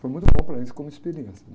Foi muito bom para eles como experiência, né?